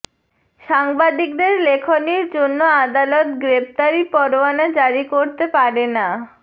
সাংবাদিকদের লেখনীর জন্য আদালত গ্রেপ্তারি পরোয়ানা জারি করতে পারে না